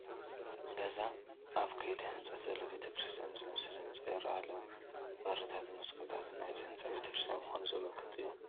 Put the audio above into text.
ገና ኣብ ከይዲ ህንፀት ዘሎ ቤተ ክርስቲያን ዝመስል ህንፃ ይርአ ኣሎ፡፡ በርታትን መስኮታትን ናይዚ ህንፃ ቤተ ክርስቲያን ምዃኑ ዘመልክቱ እዮም፡፡